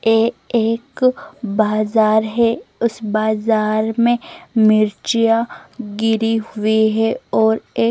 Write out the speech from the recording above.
ए एक बाज़ार है उस बाज़ार में मिरच्या गिरी हुई है और एक --